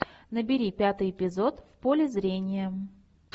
набери пятый эпизод в поле зрения